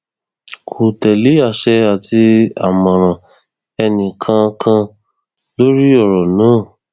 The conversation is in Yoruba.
kò tẹlé àṣẹ àti àmọràn ẹnìkankan lórí ọrọ náà